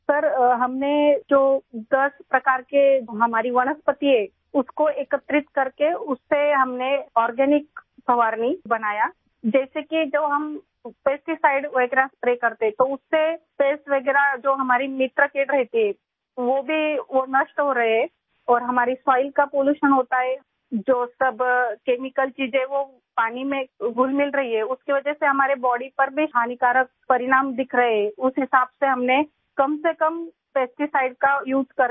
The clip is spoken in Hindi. सर हमने जो दस प्रकार के हमारी वनस्पति है उसको एकत्रित करके उससे हमने आर्गेनिक फवारणीस्प्रे बनाया जैसे कि जो हम पेस्टीसाइड वगैहरा स्प्रे करते तो उस से पेस्ट वगैरह जो हमारी मित्र कीटpest रहती है वो भी नष्ट हो रहे और हमारी सोइल का पॉल्यूशन होता है जो तो तब केमिकल चीज़े जो पानी में घुलमिल रही हैं उसकी वजह से हमारी बॉडी पर भी हानिकारक परिणाम दिख रहे हैं उस हिसाब से हमने कम से कम पेस्टीसाइड का उसे कर के